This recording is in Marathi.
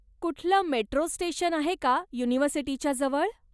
कुठलं मेट्रो स्टेशन आहे का युनिव्हर्सिटीच्या जवळ?